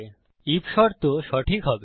if শর্ত সঠিক হবে